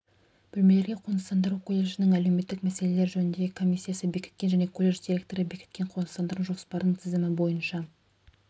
бөлмелерге қоныстандыру колледждің әлеуметтік мәселелер жөніндегі комиссиясы бекіткен және колледж директоры бекіткен қоныстандыру жоспарының тізімі бойынша